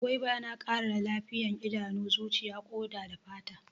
Gwaiba yana ƙara lafiya idanu, zuciya, ƙoda da fata.